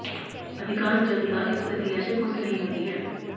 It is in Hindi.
अधिकांश जनता इस प्रक्रिया से खुश नहीं होती है